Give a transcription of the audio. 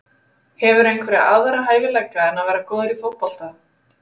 Hefurðu einhverja aðra hæfileika en að vera góð í fótbolta?